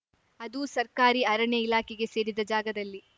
ಅದೂ ಸರ್ಕಾರಿ ಅರಣ್ಯ ಇಲಾಖೆಗೆ ಸೇರಿದ ಜಾಗದಲ್ಲಿ